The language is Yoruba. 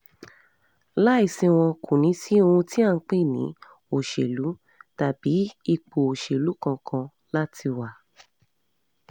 láì sí wọn kò ní sí ohun tí à ń pè ní òṣèlú tàbí ipò òṣèlú kankan láti wà